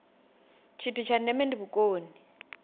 tshithu tsha ndeme ndi vhukoni